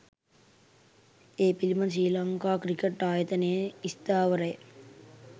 ඒ පිළිබඳ ශ්‍රී ලංකා ක්‍රිකට් ආයතනයේ ස්ථාවරය